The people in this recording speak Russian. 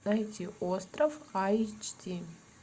найди остров айч ди